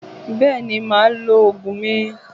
Bẹ́ẹ̀ ni, màá lo oògùn mi